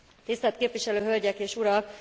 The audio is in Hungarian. Tisztelt képviselő hölgyek és urak!